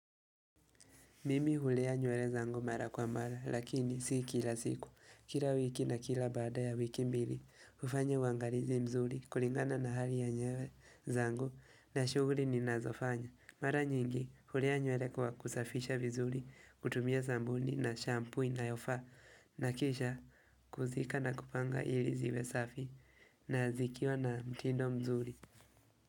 Mimi hulea nywele zangu mara kwa mara, lakini si kila siku, kila wiki na kila baada ya wiki mbili, hufanya wangalizi mzuri, kulingana na hali ya nyewele zangu, na shughuli ninazofanya. Mara nyingi hulea nywele kwa kusafisha vizuri, kutumia sabuni na shampoo inayofaa, na kisha kuzika na kupanga ili ziwe safi, na zikiwa na mtindo mzuri.